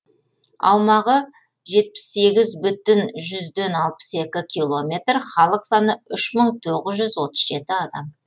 аумағы жетпіс сегіз бүтін жүзден алпыс екі километр халық саны үш мың тоғыз жүз отыз жеті адам